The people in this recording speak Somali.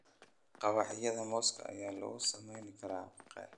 Mawaqiyada mooska ayaa lagu sameyn karaa keeg.